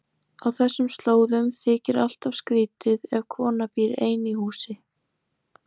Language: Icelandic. Á þessum slóðum þykir alltaf skrýtið ef kona býr ein í húsi.